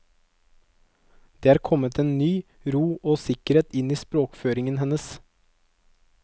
Det er kommet en ny ro og sikkerhet inn i språkføringen hennes.